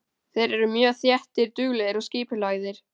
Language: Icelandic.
Þeir eru mjög þéttir, duglegir og skipulagðir.